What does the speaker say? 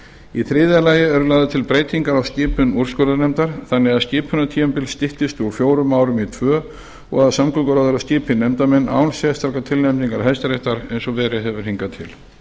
í þriðja lagi eru lagðar til breytingar á skipun úrskurðarnefndar þannig að skipunartímabil styttist úr fjórum árum í tvö og að samgönguráðherra skipi nefndarmenn án sérstakrar tilnefningar hæstaréttar eins og verið hefur hingað til